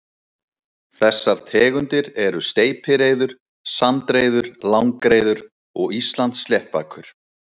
Þessar tegundir eru steypireyður, sandreyður, langreyður og Íslandssléttbakur.